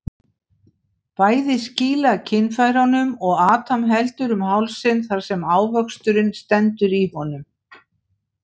Bæði skýla kynfærunum og Adam heldur um hálsinn þar sem ávöxturinn stendur í honum.